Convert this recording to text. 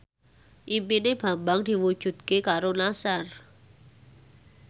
impine Bambang diwujudke karo Nassar